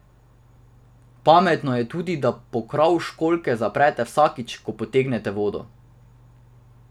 Pametno je tudi, da pokrov školjke zaprete vsakič, ko potegnete vodo.